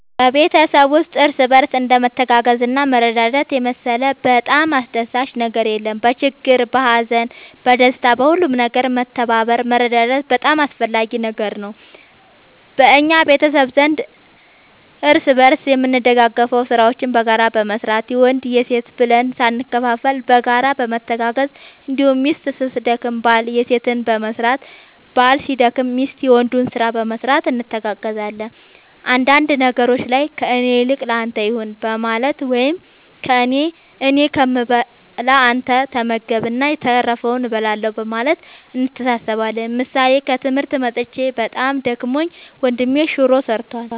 በቤተሰብ ውስጥ እርስ በርስ እንደ መተጋገዝና መረዳዳት የመሰለ በጣም አስደሳች ነገር የለም በችግር በሀዘን በደስታ በሁሉም ነገር መተባበር መረዳዳት በጣም አስፈላጊ ነገር ነው በእኛ ቤተሰብ ዘንድ እርስ በርስ የምንደጋገፈው ስራዎችን በጋራ በመስራት የወንድ የሴት ብለን ሳንከፋፈል በጋራ በመተጋገዝ እንዲሁም ሚስት ስትደክም ባል የሴትን በመስራት ባል ሲደክም ሚስት የወንዱን ስራ በመስራት እንተጋገዛለን አንዳንድ ነገሮች ላይ ከእኔ ይልቅ ለአንተ ይሁን በማለት ወይም እኔ ከምበላ አንተ ተመገብ እና የተረፈውን እበላለሁ በማለት እንተሳሰባለን ምሳሌ ከትምህርት መጥቼ በጣም ደክሞኝ ወንድሜ ሹሮ ሰርቷል።